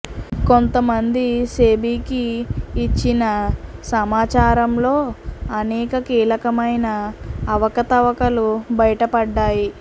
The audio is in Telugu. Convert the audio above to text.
కొంత మంది సెబీకి ఇచ్చిన సమాచారంలో అనేక కీలకమైన అవకతవకలు బయటపడ్డాయి